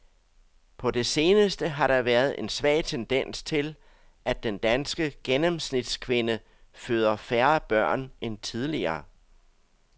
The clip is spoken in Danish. På det seneste har der været en svag tendens til, at den danske gennemsnitskvinde føder færre børn end tidligere.